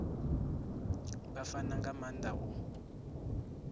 vha fana nga maanda u